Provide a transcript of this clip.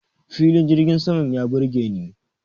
Filin jirgin saman ya burgeni.